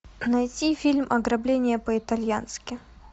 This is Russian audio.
найти фильм ограбление по итальянски